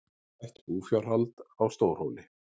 Bætt búfjárhald á Stórhóli